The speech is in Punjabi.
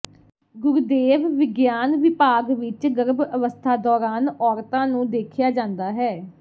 ਗੁਰਦੇਵ ਵਿਗਿਆਨ ਵਿਭਾਗ ਵਿਚ ਗਰਭ ਅਵਸਥਾ ਦੌਰਾਨ ਔਰਤਾਂ ਨੂੰ ਦੇਖਿਆ ਜਾਂਦਾ ਹੈ